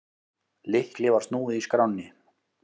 Lykli var snúið í skránni.